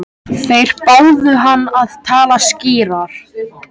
Þeir báðu hann að tala skýrar.